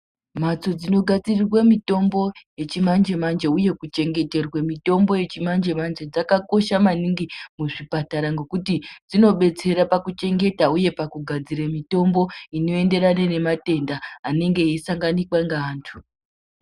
Mhatso dzakagadzirirwe mitombo yechimanje-manje, uye kuchengeterwe mitombo yechimanje-manje, dzakakosha maningi muzvipatara ngekuti dzinobetsera pakuchengeta, uye pakugadzira mitombo inoenderana nematenda anenge aisanganika ngeantu.